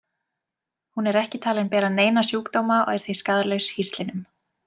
Hún er ekki talin bera neina sjúkdóma og er því skaðlaus hýslinum.